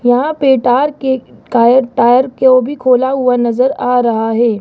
यहां पे टायर के कायर टायर के ओ भी खोला हुआ नजर आ रहा है।